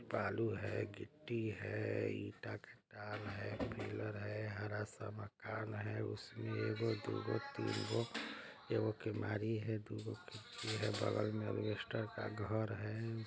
बालू है गिट्टी है ईटा खटाल है। पिलर है हरा सा मकान है उसमे ईगो दुगो तीनगो एगो कीमारी है दुगो खिड़की है बगल में अलबेस्टर का घर है।